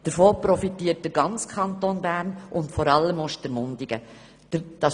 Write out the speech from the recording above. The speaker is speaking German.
Davon profitiert der ganze Kanton Bern und vor allem Ostermundigen. «